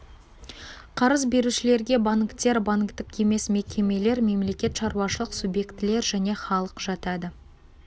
қарыз берушілерге банктер банктік емес мекемелер мемлекет шаруашылық субъектілер және халық жатады